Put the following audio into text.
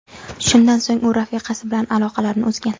Shundan so‘ng u rafiqasi bilan aloqlarni uzgan.